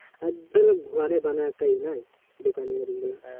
ওগুলা ঘরে বানায় তাই না, দোকানের গুলা,